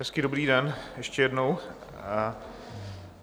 Hezký dobrý den ještě jednou.